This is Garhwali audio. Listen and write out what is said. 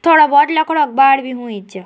थोडा भोत लख्डों बाड़ भी हुईं च।